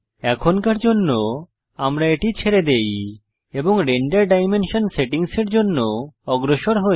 এখনকার জন্য আমরা এটি ছেড়ে দেই এবং রেন্ডার ডাইমেনশন সেটিংসের জন্য অগ্রসর হই